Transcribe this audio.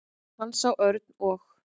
Hann sá Örn og